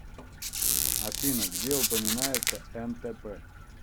афина где упоминается нтп